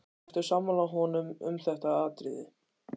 Ertu sammála honum um þetta atriði?